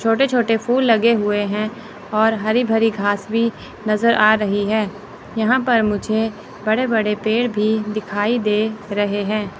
छोटे छोटे फूल लगे हुए हैं और हरी भरी घास भी नजर आ रही है यहां पर मुझे बड़े बड़े पेड़ भी दिखाई दे रहे हैं।